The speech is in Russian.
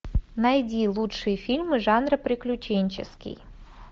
найди лучшие фильмы жанра приключенческий